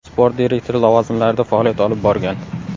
Sport direktori lavozimlarida faoliyat olib borgan.